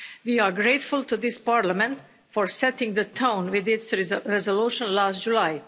We are grateful to this Parliament for setting the tone with its resolution last July.